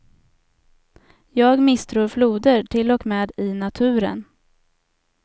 Jag misstror floder, till och med i naturen.